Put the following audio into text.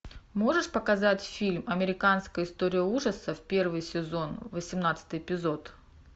можешь показать фильм американская история ужасов первый сезон восемнадцатый эпизод